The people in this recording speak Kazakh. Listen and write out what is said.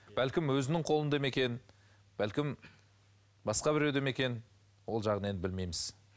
бәлкім өзінің қолында ма екен бәлкім басқа біреуде ме екен ол жағын енді білмейміз